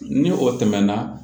Ni o tɛmɛna